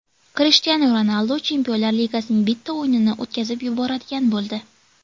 Krishtianu Ronaldu Chempionlar Ligasining bitta o‘yinini o‘tkazib yuboradigan bo‘ldi.